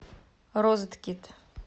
розеткит